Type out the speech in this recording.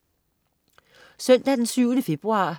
Søndag den 7. februar